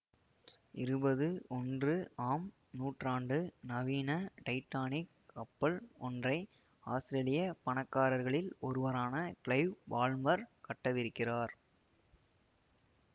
இருபது ஒன்று ஆம் நூற்றாண்டு நவீன டைட்டானிக் கப்பல் ஒன்றை ஆத்திரேலிய பணக்காரர்களில் ஒருவரான கிளைவ் பால்மர் கட்டவிருக்கிறார்